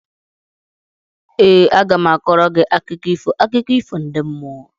Ee, aga m a kọọrọ gị akụkọ ifo akụkọ ifo ndị mmụọ